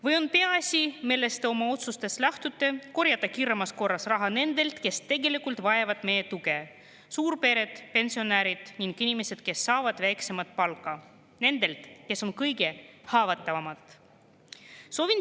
Või on peaasi, millest te oma otsustes lähtute, korjata kiiremas korras raha nendelt, kes tegelikult vajavad meie tuge, nagu suurpered, pensionärid ning inimesed, kes saavad väiksemat palka, nendelt, kes on kõige haavatavamad?